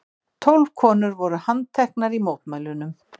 Tólf konur voru handteknar í mótmælunum